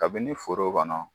Kabini foro kɔnɔ.